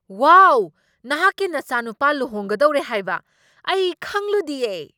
ꯋꯥꯎ! ꯅꯍꯥꯛꯀꯤ ꯅꯆꯥꯅꯨꯄꯥ ꯂꯨꯍꯣꯡꯒꯗꯧꯔꯦ ꯍꯥꯏꯕ ꯑꯩ ꯈꯪꯂꯨꯗꯤꯌꯦ!